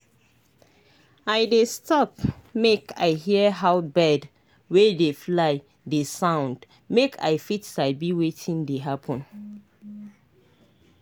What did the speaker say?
i dey stop make i hear how bird wey dey fly dey sound make i fit sabi wetin dey happen.